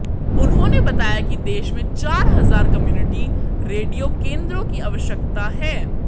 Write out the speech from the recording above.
उन्होंने बताया कि देश में चार हजार कम्युनिटी रेडियो केंद्रों की आवश्यकता है